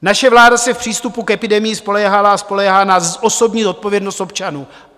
Naše vláda se v přístupu k epidemii spoléhala a spoléhá na osobní zodpovědnost občanů.